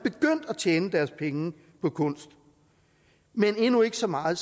tjene deres penge på kunst men endnu ikke så meget